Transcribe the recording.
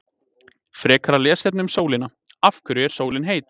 Frekara lesefni um sólina: Af hverju er sólin heit?